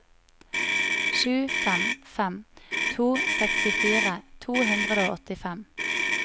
sju fem fem to sekstifire to hundre og åttifem